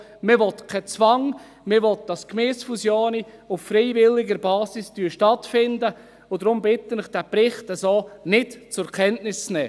Man will keinen Zwang, man will, dass Gemeindefusionen auf freiwilliger Basis stattfinden, und deshalb bitte ich Sie, diesen Bericht so nicht zur Kenntnis zu nehmen.